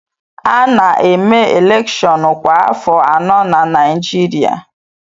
A na-eme elèkshón kwa afọ anọ na Naịjirịa